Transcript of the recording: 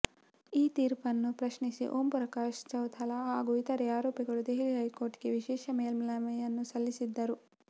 ಈ ತೀರ್ಪನ್ನು ಪ್ರಶ್ನಿಸಿ ಓಂ ಪ್ರಕಾಶ್ ಚೌತಾಲಾ ಹಾಗೂ ಇತರೆ ಆರೋಪಿಗಳು ದೆಹಲಿ ಹೈಕೋರ್ಟ್ಗೆ ವಿಶೇಷ ಮೇಲ್ಮನವಿ ಸಲ್ಲಿಸಿದ್ದರು